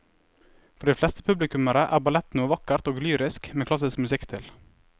For de fleste publikummere er ballett noe vakkert og lyrisk med klassisk musikk til.